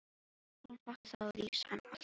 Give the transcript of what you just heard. Og þótt hann falli þá rís hann alltaf upp.